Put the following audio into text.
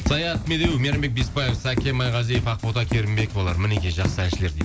саят медеуов мейрамбек беспаев саке майғазиев ақбота керімбековалар мінекей жақсы әншілер дейді